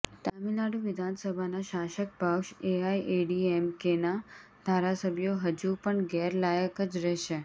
તામિલનાડુ વિધાનસભાના શાસક પક્ષ એઆઈએડીએમકેના ધારાસભ્યો હજુ પણ ગેરલાયક જ રહેશે